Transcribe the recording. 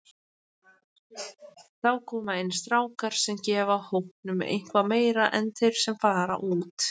Þá koma inn strákar sem gefa hópnum eitthvað meira en þeir sem fara út.